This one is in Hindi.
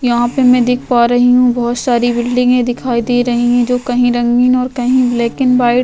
यहाँ पे मैं देख पा रही हूं बहुत सारी बिल्डिंगै दिखाई दे रही है जो कहीं रंगीन और कहीं ब्लैक एंड व्हाइट --